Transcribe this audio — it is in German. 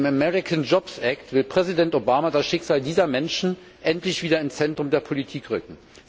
Mit dem American Jobs Act will Präsident Obama das Schicksal dieser Menschen endlich wieder ins Zentrum der Politik rücken.